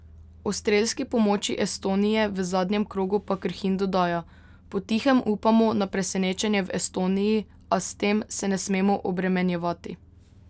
O strelski pomoči Estonije v zadnjem krogu pa Krhin dodaja: 'Potihem upamo na presenečenje v Estoniji, a s tem se ne smemo obremenjevati.